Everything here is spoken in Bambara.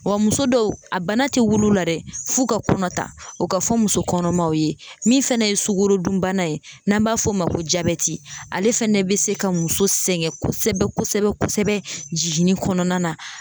Wa muso dɔw a bana ti wul'u la dɛ f'u ka kɔnɔ ta o ka fɔ muso kɔnɔmaw ye min fɛnɛ ye sugorodunbana ye n'an b'a f'o ma ko jabɛti ale fɛnɛ be se ka muso sɛgɛn kosɛbɛ kosɛbɛ kosɛbɛ jiginni kɔnɔna na